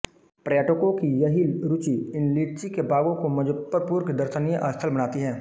पर्यटको की यही रूची इन लीची के बाग़ों को मुजफ्फरपुर के दर्शनीय स्थल बनाती है